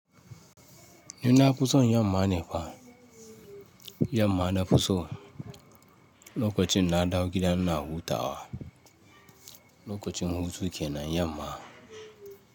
Nuna fu son yamma nefa, yamma na fuso, lokacin na dawo gida ina huta wa, lokacin hutu kenan, yamma.